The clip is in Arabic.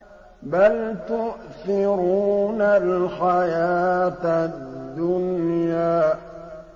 بَلْ تُؤْثِرُونَ الْحَيَاةَ الدُّنْيَا